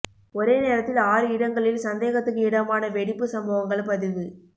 ஒரே நேரத்தில் ஆறு இடங்களில் சந்தேகத்துக்கு இடமான வெடிப்பு சம்பவங்கள் பதிவு